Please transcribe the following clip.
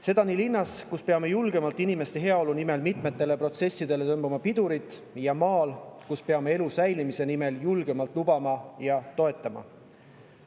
Seda nii linnas, kus peame inimeste heaolu nimel mitmetele protsessidele julgemalt pidurit tõmbama, kui ka maal, kus peame elu säilimise nimel julgemalt lubama ja toetama.